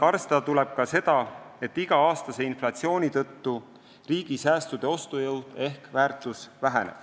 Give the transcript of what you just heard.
Arvestada tuleb ka seda, et iga-aastase inflatsiooni tõttu väheneb riigi säästude ostujõud ehk väärtus.